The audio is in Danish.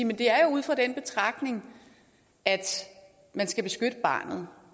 men det er jo ud fra den betragtning at man skal beskytte barnet